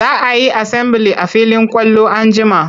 Za a yi asambili a filin kwallo an jima.